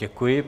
Děkuji.